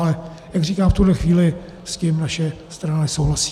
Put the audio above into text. Ale jak říkám, v tuhle chvíli s tím naše strana nesouhlasí.